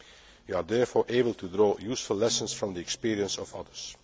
We are therefore able to draw useful lessons from the experience of others.